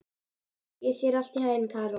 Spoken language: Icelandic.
Gangi þér allt í haginn, Karol.